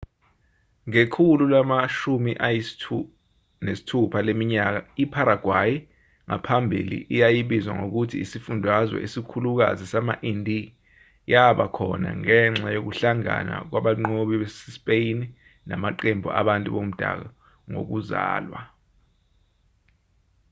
ngekhulu lama-16 leminyaka iparaguay ngaphambili eyayibizwa ngokuthi isifundazwe esikhulukazi sama-indie yaba khona ngenxa yokuhlangana kwabanqobi basespeyini namaqembu abantu bomdabu ngokuzalwa